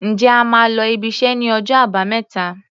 Ǹjẹ́ ẹ máa lọ ibiṣẹ́ ní ọjọ́ Àbámẹ́ta?